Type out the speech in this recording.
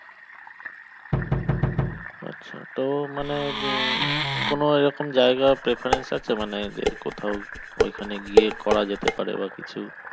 আছে তো মানে উম কোনো রকম জায়গার preference আছে মানের যে কোথাও ওখানে গিয়ে করা যেতে পারে বা কিছু